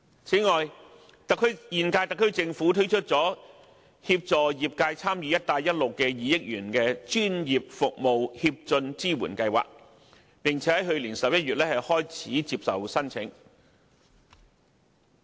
此外，現屆特區政府推出了協助業界參與"一帶一路"的 2,000 億元專業服務協進支援計劃，並在去年11月開始接受申請。